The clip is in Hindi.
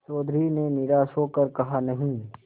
चौधरी ने निराश हो कर कहानहीं